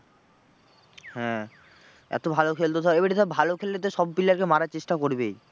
হ্যাঁ এতো ভালো খেলতো ধর এবারে ধর ভালো খেললে তো সব player কে মারার চেষ্টা করবেই।